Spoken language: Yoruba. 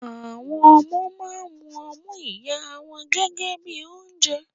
Àwọn ọmọ máa ń mu ọmú ìyá wọn gẹ́gẹ́ bíi oúnjẹ.